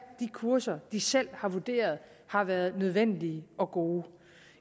de kurser de selv har vurderet har været nødvendige og gode